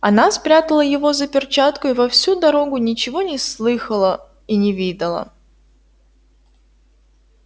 она спрятала его за перчатку и во всю дорогу ничего не слыхала и не видала